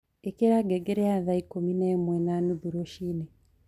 ĩkĩra ngengere ya thaa ĩkũmĩ naĩmwe na nũthũ rũcĩĩnĩ